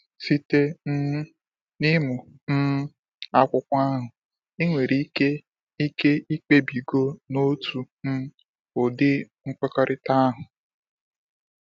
Site um n’ịmụ um akwụkwọ ahụ, i nwere ike ike ikpebigo n'otu um ụdị nkwekọrịta ahụ.